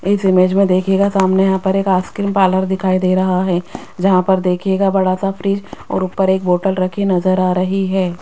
इस इमेज में देखिएगा सामने यहां पर एक आइसक्रीम पार्लर दिखाई दे रहा है जहां पर देखिएगा बड़ा सा फ्रिज और ऊपर एक बॉटल रखी नजर आ रही है।